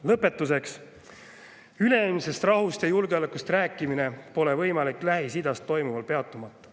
Lõpetuseks, üleilmsest rahust ja julgeolekust rääkimine pole võimalik Lähis-Idas toimuval peatumata.